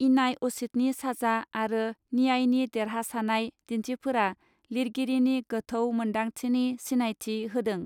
इनाय असितनि साजा आरो नियायनि देरहासानाय दिन्थिफोरा लिरगिरिनि गोथौ मोन्दांथिनि सिनायथि होदों.